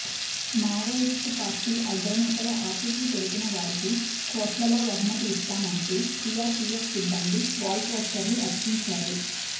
Maoist party అగ్రనేతల ఆచూకీ తెలిపిన వారికి కోట్లలో బహుమతి ఇస్తామంటూ సీఆర్పీఎఫ్ సిబ్బంది వాల్పోస్టర్లు అతికించారు